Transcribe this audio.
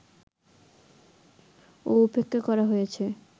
ও উপেক্ষা করা হয়েছে